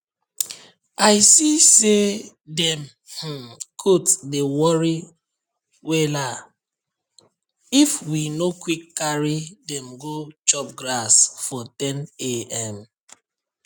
i see say dem um goat dey worry wellaif we no quick carry dem go chop grass for 10am